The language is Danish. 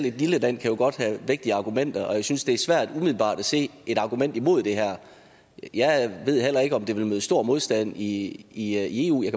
et lille land kan jo godt have vægtige argumenter og jeg synes det er svært umiddelbart at se et argument imod det her jeg ved heller ikke om det ville møde stor modstand i eu jeg